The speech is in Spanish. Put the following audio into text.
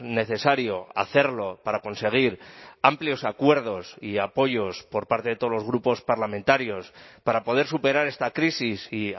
necesario hacerlo para conseguir amplios acuerdos y apoyos por parte de todos los grupos parlamentarios para poder superar esta crisis y